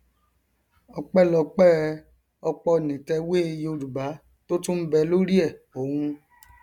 ọpẹlọpẹ ọpọnìtẹwé yorùbá tó tún ń bẹ lórí ẹ òun